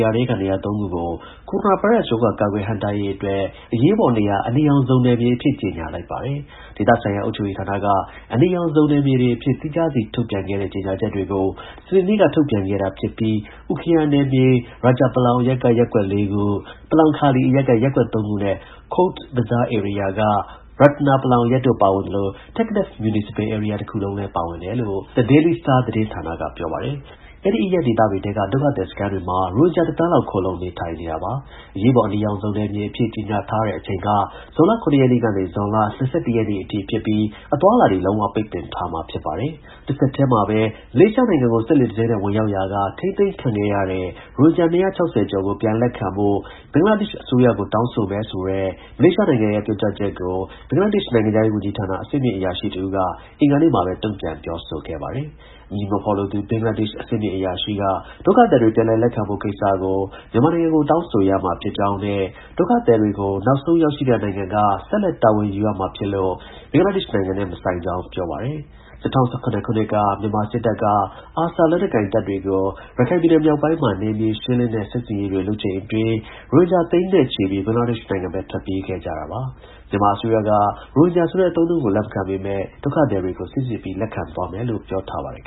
ယာထဲက နေရာ သုံးခုကို ကိုရိုနာဗိုင်းရပ်စ် ရောဂါကာကွယ် ဟန့်တားရေးအတွက် အရေးပေါ်နေရာ အနီရောင် ဇုံနယ်မြေတွေ အဖြစ် ကြေညာ လိုက်ပါတယ်။ ဒေသဆိုင်ရာ အုပ်ချုပ်ရေးဌာနက အနီရောင် ဇုံနယ်မြေတွေအဖြစ် သီးခြားစီ ထုတ်ပြန်ခဲ့တဲ့ ကြေညာချက်တွေကို စနေနေ့က ထုတ်ပြန်ခဲ့တာ ဖြစ်ပြီးUkhia နယ်မြေ Rajapalong အရပ်က ရပ်ကွက် ၄ခု၊ Palongkhali အရပ်က ရပ်ကွက် ၃ ခုနဲ့ Cox’s Bazar ဧရိယာက Ratnapalong အရပ်တို့ ပါဝင်သလို Teknaf မြူနီစပယ် ဧရိယာ တစ်ခုလုံးလည်း ပါဝင်တယ်လို့ THE DAILY STAR သတင်းဌာနက ပြောပါတယ်။ အဲဒီ အရပ်ဒေသတွေထဲက ဒုက္ခသည်စခန်းတွေမှာ ရိုဟင်ဂျာ ၁ သန်းလောက် ခိုလှုံနေထိုင်နေတာပါ။ အရေးပေါ် အနီရောင် ဇုံနယ်မြေ တွေအဖြစ် ကြေညာထားတဲ့အချိန်က ဇွန်လ ၇ ရက်နေ့ကနေ ဇွန်လ ၂၁ ရက်နေ့အထိ ဖြစ်ပြီးအသွားအလာတွေ လုံးဝ ပိတ်ပင် ထားမှာ ဖြစ်ပါတယ်။ တဆက်တည်းမှာပဲ မလေးရှားနိုင်ငံကို စက်လှေတစ်စင်းနဲ့ ဝင်ရောက်ရာက ထိန်းသိမ်းခံခဲ့ရတဲ့ ရိုဟင်ဂျာ ၂၆၀ ကျော်ကို ပြန်လက်ခံဖို့ ဘင်္ဂလားဒေ့ရှ် အစိုးရကို တောင်းဆိုမယ်ဆိုတဲ့ မလေးရှားနိုင်ငံရဲ့ ပြောကြားချက်ကို ဘင်္ဂလားဒေ့ရှ် နိုင်ငံခြားရေး ဝန်ကြီးဌာန အဆင့်မြင့် အရာရှိတစ်ဦးက အင်္ဂါနေ့မှာပဲ တုံ့ပြန်ပြောဆိုခဲ့ပါတယ်။ အမည်မဖော်လိုသူ ဘင်္ဂလားဒေ့ရှ် အဆင့်မြင့် အရာရှိက ဒုက္ခသည်တွေ ပြန်လက်ခံဖို့ ကိစ္စကို မြန်မာနိုင်ငံကို တောင်းဆိုရမှာ ဖြစ်ကြောင်းနဲ့ ဒုက္ခသည်တွေကို နောက်ဆုံး ရောက်ရှိနေတဲ့နိုင်ငံက ဆက်လက် တာဝန်ယူရမှာဖြစ်လို့ ဘင်္ဂလားဒေ့ရှ်နိုင်ငံနဲ့ မဆိုင်ကြောင်း ပြောပါတယ်။ ၂၀၁၇ ခုနှစ်က မြန်မာစစ်တပ်က ARSA လက်နက်ကိုင်တပ်တွေကို ရခိုင်ပြည်နယ် မြောက်ပိုင်းမှာ နယ်မြေ ရှင်းလင်းတဲ့ စစ်ဆင်ရေးတွေ လုပ်ချိန်အတွင်း ရိုဟင်ဂျာ သိန်းချီပြီး ဘင်္ဂလားဒေ့ရှ်နိုင်ငံဘက် ထွက်ပြေးခဲ့ကြတာပါ။ မြန်မာအစိုးရက ရိုဟင်ဂျာ ဆိုတဲ့အသုံးအနှုန်းကို လက်မခံပေမဲ့ ဒုက္ခသည်တွေကို စိစစ်ပြီး လက်ခံသွားမယ်လို့ ပြောထားပါတယ်